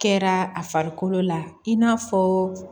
Kɛra a farikolo la i n'a fɔ